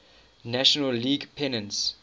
national league pennants